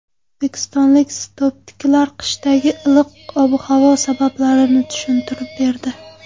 O‘zbekistonlik sinoptiklar qishdagi iliq ob-havo sabablarini tushuntirib berdi.